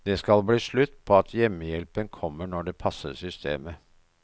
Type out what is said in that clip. Det skal bli slutt på at hjemmehjelpen kommer når det passer systemet.